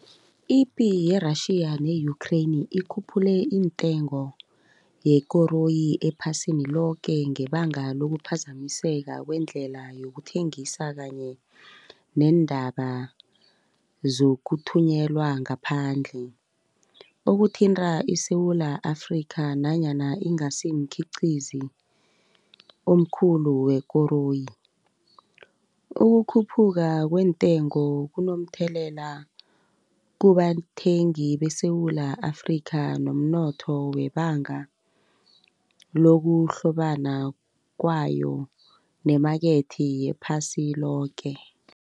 Ipi ye-Russia ne-Ukraine ikhuphule intengo yekoroyi ephasini loke ngebanga lokuphazamiseka kwendlela yokuthengisa kanye neendaba zokuthunyelwa ngaphandle. Okuthinta iSewula Afrika nanyana ingasimkhiqizi omkhulu wekoroyi. Ukukhuphuka kweentengo kunomthelela kubathengi beSewula Afrika nomnotho webanga lokuhlobana kwayo nemakethe yephasi loke.